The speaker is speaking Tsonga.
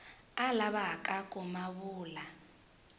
a lavaka ku ma vula